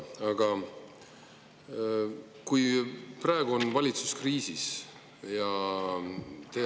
Aga praegu on valitsus kriisis.